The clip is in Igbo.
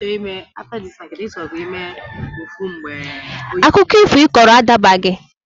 Akụkọ ifo Ị kọrọ a dabaghị!